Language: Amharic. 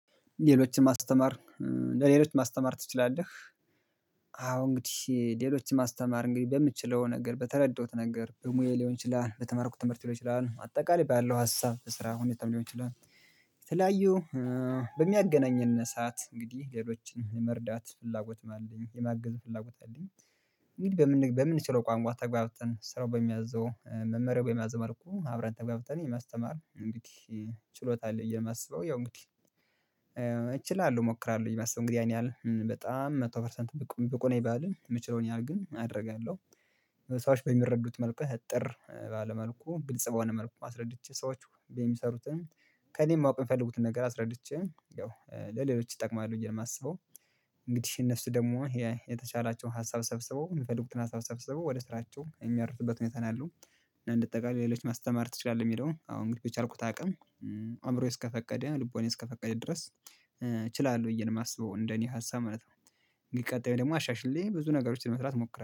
ሌሎችን ማስተማር ለሌሎች ማስተማር ትችላለህ? አዎ እንግዲህ ሌሎችን ማስተማር እንግዲህ በምትችለው ነገር በተረዳውት ነገር በሙዬ ሊሆን ይችላል በተማርኩት ትምህርት ሊሆን ይችላል አጠቃላይ ባይለው ሀሳብ ስራ ሁኔታም ሊሆን ይችላል። ተለያዩ። በሚያገናኘን ሰዓት እንግዲህ ሌሎችን የመርዳት ፍላጎት አለኝ የማገዝ ፍላጎት አለኝ። እንግዲህ በምን በምንችለው ቋንቋ ተገብተን ስራው በሚያዘው መመሪያው በሚያዘው መልኩ አብረን ተጋብተን የማስተማር እንዴ? ችሎታ አለ በየ የማስበው ያው እንግዲህ እችላለሁ እሞክራለሁ የማስበው እንግዲህ ይህን ያህል በጣም መቶ ፐርሰንት በቁ ነኝ ባልል የምችለውን ያህል ግን አደርጋለሁ። ሰዎች በሚረዱት መልኩ እጥር ባለ መልኩ ግልጽ በሆኔ መልኩ አስረድቸ ሰዎች የሚሰሩትን ከእኔ ማውቅ የፈለጉትን ነገር አስረድቸ ያው ለሌሎች ይጠቅማሉ ብዬ ነው የማስበው። እንግዲህ እነሱ ደግሞ የተቻላቸውን ሀሳብ ሰብስበው ሚፈልጉትን ሀሳብ ሰብስበው ወደ ስራቸው የሚያርፉበት ሁኔታ ነው ያለው። እና እንዳተጠቃለው ለሎች ማስተማር ትችላለህ? የሚለውን አሁን ግን የቻልኩት አቅም አእምሮዬ እስከፈቀደ ልቦናየ እስከፈቀደ ድረስ እችላለሁ ብዬ ነው የማስበው እንደኔ ሀሳብ ማለት ነው። ቀጣይ ደግሞ አሻሽለ ብዙ ነገሮችን መስራት ሞክራለሁ